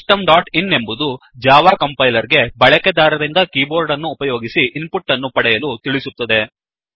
system dot in ಎಂಬುದು Java compiler ಗೆ ಬಳಕೆದಾರರಿಂದ ಕೀಬೋರ್ಡ್ ಅನ್ನು ಉಪಯೋಗಿಸಿ ಇನ್ ಪುಟ್ ಅನ್ನು ಪಡೆಯಲು ತಿಳಿಸುತ್ತದೆ